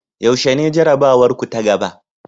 Yaushe ne jarabawarku ta gaba?